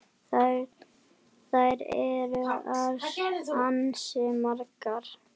Þær eru ansi margar.